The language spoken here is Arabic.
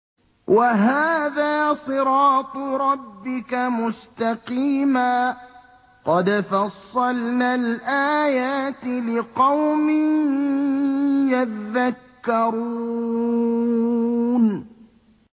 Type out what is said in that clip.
وَهَٰذَا صِرَاطُ رَبِّكَ مُسْتَقِيمًا ۗ قَدْ فَصَّلْنَا الْآيَاتِ لِقَوْمٍ يَذَّكَّرُونَ